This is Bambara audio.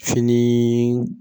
Fini